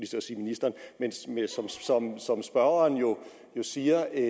til at sige ministeren spørgeren jo siger en